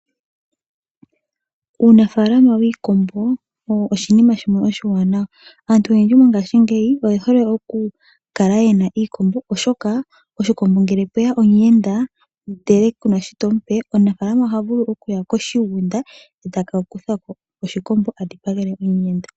Uunafalama wiikombo owo oshinima shimwe oshiwanawa, aantu oyendji mongashingeyi oye hole okukala yena iikombo oshoka oshikombo ngele pweya omuyenda ndele kunashi to mu pe omunafalama oha vulu okuya Koshigunda eta kakuthako oshikombo adhipangele omuyenda.